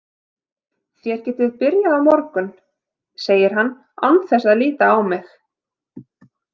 Þér getið byrjað á morgun, segir hann án þess að líta á mig.